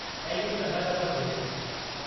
ऐं इहो चङा दफ़ा थिए थो।